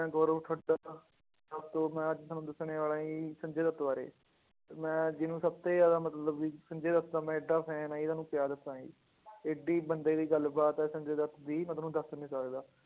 ਮੈਂ ਗੋਰਵ ਹਾਂ ਮੈਂ ਅੱਜ ਤੁਹਾਨੂੰ ਦੱਸਣ ਵਾਲਾ ਜੀ ਸੰਜੇ ਦੱਤ ਬਾਰੇ, ਤੇ ਮੈਂ ਜਿਹਨੂੰ ਸਭ ਤੋਂ ਜ਼ਿਆਦਾ ਮਤਲਬ ਵੀ ਸੰਜੇ ਦੱਤ ਦਾ ਮੈਂ ਇੱਡਾ fan ਆਂ ਜੀ ਤੁਹਾਨੂੰ ਕਿਆ ਦੱਸਾਂ ਜੀ ਇੱਡੀ ਬੰਦੇ ਦੀ ਗੱਲਬਾਤ ਹੈ ਸੰਜੇ ਦੱਤ ਦੀ ਮੈਂ ਤੁਹਾਨੂੰ ਦੱਸ ਨੀ ਸਕਦਾ।